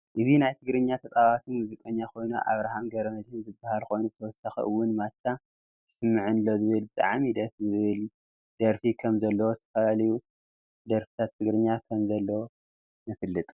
እዚ ናይ ትግርኛ ተፃወቲ ሞዝቃኛ ኮይኑ ኣብራሃም ገመድህን ዝበሃል ኮይኑ ብተወሰኪ እውን ማቻ ይስምዓነሎ ዝብል ብጣዓሚ ድስ ዝብ ል ደረፊ ከም ዘለዎ ዝተፈላላዩ ደርፍታትግራኛ ከም ዘለወ ንፍልጥ።